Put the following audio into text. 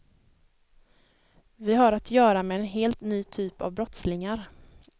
Vi har att göra med en helt ny typ av brottslingar.